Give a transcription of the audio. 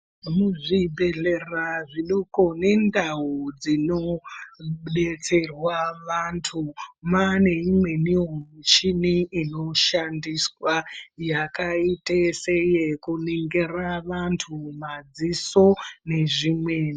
Muzvibhedhlera zvidoko nendau dzinobetserwa vantu mane imwenivo michini inoshandiswa. Yakaita seye kunongira vantu madziso nezvimweni.